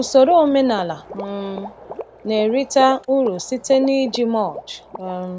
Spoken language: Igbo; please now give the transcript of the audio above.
Usoro omenala um na-erite uru site n’iji mulch um